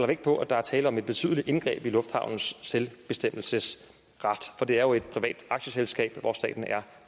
vægt på at der er tale om et betydeligt indgreb i lufthavnens selvbestemmelsesret for det er jo et privat aktieselskab hvor staten er